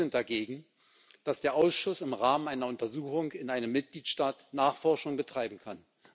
Auch Sie sind dagegen, dass der Ausschuss im Rahmen einer Untersuchung in einem Mitgliedstaat Nachforschungen betreiben kann.